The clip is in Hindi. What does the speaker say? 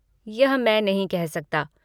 यह मैं नहीं कह सकता।